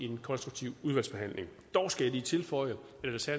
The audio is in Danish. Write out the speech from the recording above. en konstruktiv udvalgsbehandling dog skal jeg lige tilføje